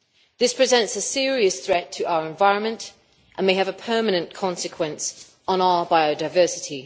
This presents a serious threat to our environment and may have a permanent consequence on our biodiversity.